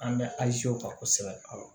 An bɛ alizew kan kosɛbɛ